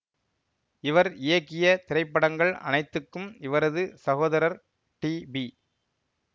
இவர் இயக்கிய திரைப்படங்கள் அனைத்துக்கும் இவரது சகோதரர் டி பி